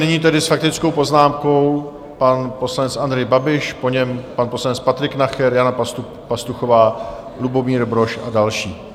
Nyní tedy s faktickou poznámkou pan poslanec Andrej Babiš, po něm pan poslanec Patrik Nacher, Jana Pastuchová, Lubomír Brož a další.